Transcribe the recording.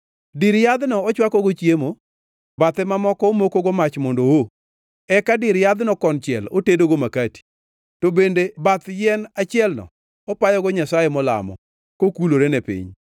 Dir yadhno ochwakogo chiemo, bathe mamoko omokogo mach mondo oo, eka dir yadhno konchiel otedogo makati. To bende bath yien achielno opayogo nyasaye molamo, kokulorene piny.